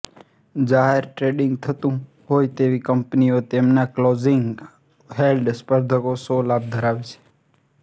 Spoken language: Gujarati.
જાહેર ટ્રેડીંગ થતું હોય તેવી કંપનીઓ તેમના ક્લોઝલી હેલ્ડ સ્પર્ધકો સાે લાભ ધરાવે છે